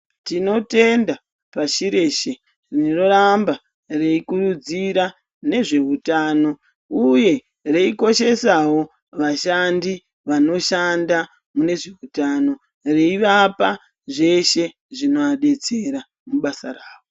Tino tenda pashi reshe rino ramba rei kurudzira nezve hutano uye vei koshesawo vashandi vano shanda mune zveutano vei vapa zveshe zvino adetsera mu basa ravo.